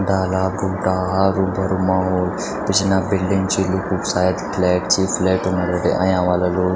डाला बूटा हारू-भारू माहोल पि; छना बिल्डिंग छ लुखु क सायद फ्लैट छि फ्लेटों मा अयां ह्वाला लोग।